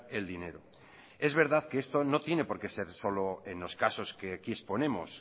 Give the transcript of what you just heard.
el dinero es verdad que esto no tiene por qué ser solo en los casos que aquí exponemos